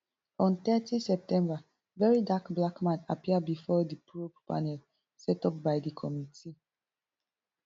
on thirty september verydarkblackman appear bifor di probe panel set up by di committee